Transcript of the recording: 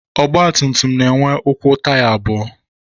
Ọgbatumtum na-enwe ụkwụ taya abụọ